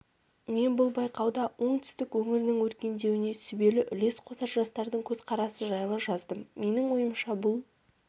мен бұл байқауда оңтүстік өңірінің өркендеуіне сүбелі үлес қосар жастардың көзқарасы жайлы жаздым менің ойымша бұл